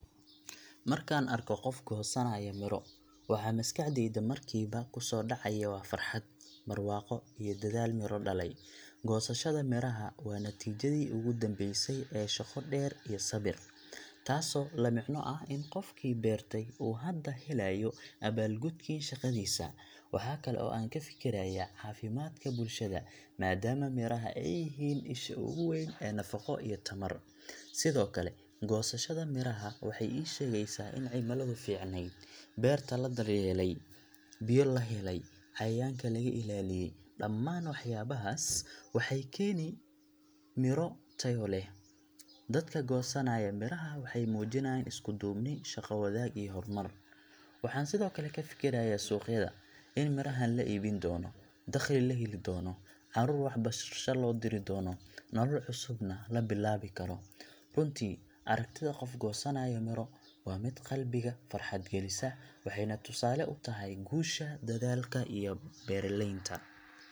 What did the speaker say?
Markaan arko qof goosanaya miro, waxa maskaxdayda markiiba ku soo dhacaya waa farxad, barwaaqo iyo dadaal miro dhalay. Goosashada miraha waa natiijadii ugu dambeysay ee shaqo dheer iyo sabir, taasoo la micno ah in qofkii beertay uu hadda helayo abaalgudkii shaqadiisa. Waxaa kale oo aan ka fikirayaa caafimaadka bulshada, maadaama miraha ay yihiin isha ugu weyn ee nafaqo iyo tamar. Sidoo kale, goosashada miraha waxay ii sheegaysaa in cimiladu fiicnayd, beerta la daryeelay, biyo la helay, cayayaanka laga ilaaliyay dhammaan waxyaabahaas waxay keeni miro tayo leh. Dadka goosanaya miraha waxay muujinayaan isku-duubni, shaqo-wadaag iyo horumar. Waxaan sidoo kale ka fikirayaa suuqyada in mirahan la iibin doono, dakhli la heli doono, caruur waxbarasho loo diri doono, nolol cusubna la bilaabi karo. Runtii, aragtida qof goosanaya miro waa mid qalbiga farxad gelisa, waxayna tusaale u tahay guusha dadaalka iyo beeralaynta.